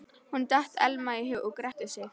Honum datt Elma í hug og gretti sig.